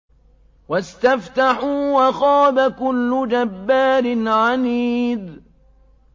وَاسْتَفْتَحُوا وَخَابَ كُلُّ جَبَّارٍ عَنِيدٍ